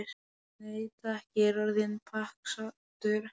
Nei takk, ég er orðinn pakksaddur